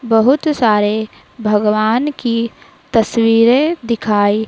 बहुत सारे भगवान की तस्वीरे दिखाई--